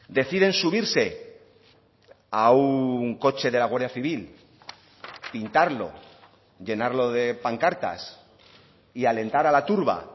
deciden subirse a un coche de la guardia civil pintarlo llenarlo de pancartas y alentar a la turba